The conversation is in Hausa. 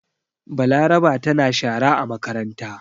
Balaraba tana shara a makaranta.